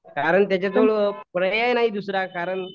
कारण त्याच्याजवळ पर्याय नाही दुसरा कारण